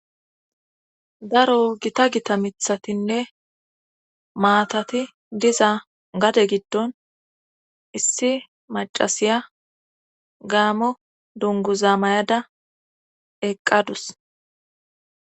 Daro gita gita mithatinne maatati diza gade giddon issi macasiya gaamo dunguzaa mayada eqqadus